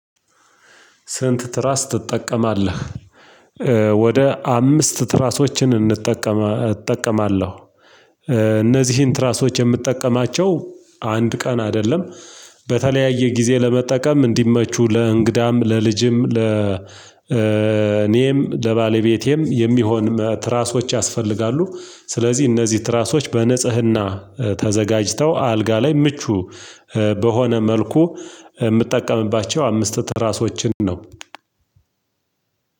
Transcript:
ስንት ትራስ ትጠቀማለህ? ወደ አምስት ትራሶችን እንጠቀም እጠቀማለሁ። እነዚህን ትራሶች የምጠቀማቸው አንድ ቀን አይደለም በተለያየ ጊዜ ለመጠቀም እንዲመቹ ለእንግዳም ለልጅም ለ ለኔም ለባለቤቴም የሚሆን ትራሶች ያስፈልጋሉ። ስለዚህ እነዚህ ትራሶች በንጽህና ተዘጋጅተው አልጋ ላይ ምቹ በሆነ መልኩ የምጠቀምባቸው አምስት ትራሶችን ነው።